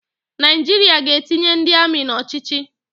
Naịjiria ga-etinye ndị amị n'ochiochi